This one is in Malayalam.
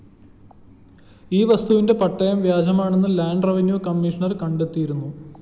ഈ വസ്തുവിന്റെ പട്ടയം വ്യാജമാണെന്ന് ലാൻഡ്‌ റെവന്യൂ കമ്മീഷണർ കണ്ടൈത്തിയിരുന്നു